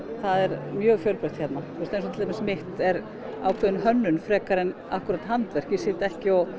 það er mjög fjölbreytt hérna eins og til dæmis mitt er ákveðin hönnun frekar en handverk ég sit ekki og